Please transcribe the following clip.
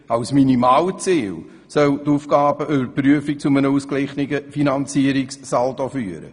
Als Minimalziel soll die Aufgabenüberprüfung zu einem ausgeglichenen Finanzierungssaldo führen.